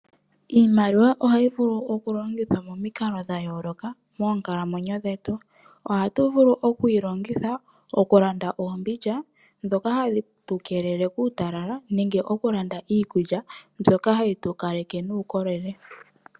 Iimaliwa ohayi vulu okulongithwa momikalo dha yooloka moonkalamwenyo dhetu. Ohatu vulu oku yi longitha okulanda oombindja ndhoka hadhi tu keelele kuutalala nenge okulanda iikulya mbyoka hayi tu kaleke nuukolele.